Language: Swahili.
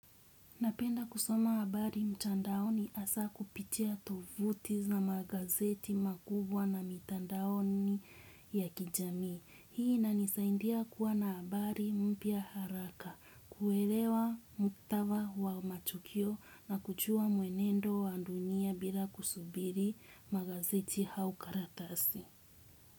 Napenda kusoma habari mtandaoni asa kupitia tovuti za magazeti makubwa na mitandaoni ya kijami. Hii inanisaindia kuwa na habari mpya haraka, kuelewa muktava wa matukio na kuchua muenendo wa ndunia bila kusubiri magazeti hau karatasi.